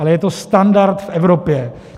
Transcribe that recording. Ale je to standard v Evropě.